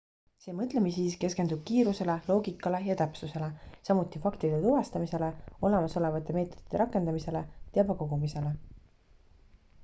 see mõtlemisviis keskendub kiirusele loogikale ja täpsusele samuti faktide tuvastamisele olemasolevate meetodite rakendamisele teabe kogumisele